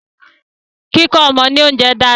Kíkọ́ ọmọ ni oúnjẹ dára.